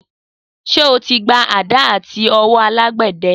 Sé o ti gba àdá latí õwõ alàgbéde?